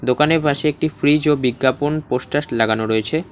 দোকানের পাশে একটি ফ্রিজ ও বিজ্ঞাপন পোস্টাস লাগানো রয়েছে।